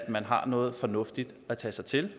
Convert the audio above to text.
at man har noget fornuftigt at tage sig til